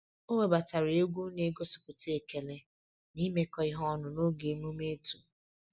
O webatara egwu na-egosipụta ekele na imekọ ihe ọnụ n'oge omume otu